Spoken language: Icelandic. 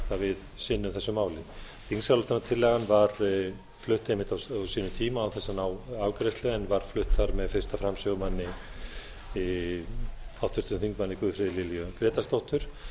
að við sinnum þessu máli þingsályktunartillagan var flutt einmitt á sínum tíma án þess að ná afgreiðslu en var flutt þar með af fyrstu framsögumanni háttvirtur þingmaður guðfríði lilju grétarsdóttur